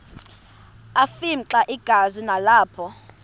afimxa igazi nalapho